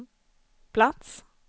plats